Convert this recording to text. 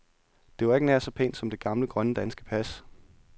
Det var ikke nær så pænt som det gamle, grønne danske pas.